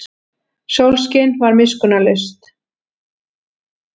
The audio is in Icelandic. Sólskin var miskunnarlaust.